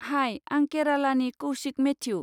High, आं केरालानि Kaushik Matthew.